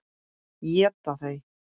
Éta þau?